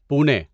پونے